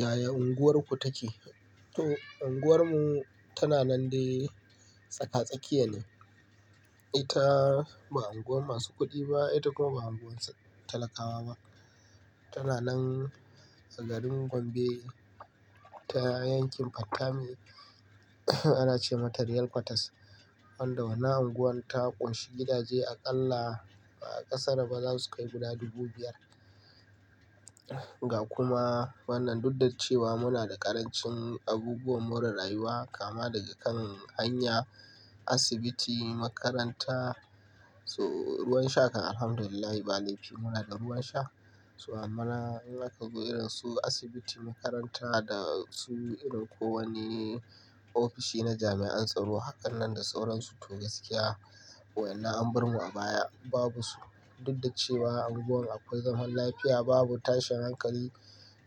Yaya unguwarku take? Unguwar mu tana nan dai tsaka-tsakiya ne. Ita ba unguwan masu kuɗi ba ita kuma ba unguwan talakawa ba. Tana nan a garin Gombe ta yankin Fattami ana ce mata Real quarters. Wanda wannan unguwar ta kunshi gidaje a ƙalla ba a ƙasa ra ba za su kai guda dubu biyar. Ga kuma wannan, duk da cewa muna da ƙarancin abubuwan more rayuwa kama daga kan hanya, asibiti, makaranta, ruwan sha kan Alhamdulillah ba laifi muna da ruwan sha. So amma in aka za irin su asibiti, makaranta da su irin ko wani ofishi na jami'an tsaro, hakan nan da sauransu to gaskiya wa'inan an bar mu a baya babu su. Duk da cewa a unguwan akwai zaman lafiya babu tashin hankali,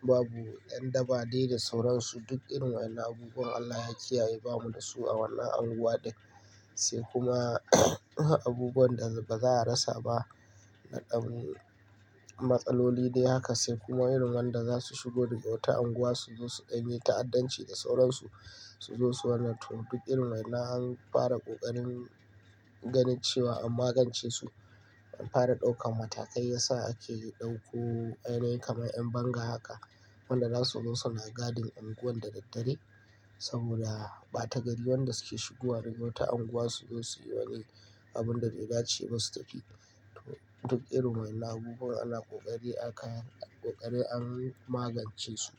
babu yan daba dai da sauransu duk irin wa'inan abubuwan Allah ya kiyaye bamu da su a wannan unguwa dai. Sai kuma abubuwan da ba za a rasa ba naɗan matsaloli dai haka sai kuma irin waɗanda za su shigo dagawata unguwa su zo su danye ta'addanci da sauransu su zo su wane to duk irin wa'inan an fara ƙoƙarin ganin cewa an magance su. An fara ɗaukan matakai ya sa ake ɗauko ainiyin kamar 'yan banga haka. Wanda za su zo su na gadin unguwan da daddare saboda ɓata gari. Waɗanda su ke shigowa dagawata unguwa su zo su yi wane abun da bai dace basu tafi. To duk irin wa'inan abubuwan ana ƙoƙari aka ƙoƙari an magance su.